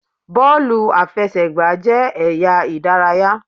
Bọ́ọ̀lù àfẹsẹ̀gbá jẹ́ ẹ̀yà ìdárayá